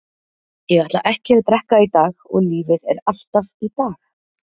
Ég ætla ekki að drekka í dag og lífið er alltaf í dag.